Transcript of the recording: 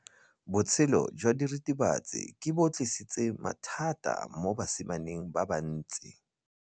Botshelo jwa diritibatsi ke bo tlisitse mathata mo basimaneng ba bantsi.